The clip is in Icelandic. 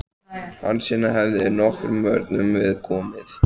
Hansína hefði nokkrum vörnum við komið.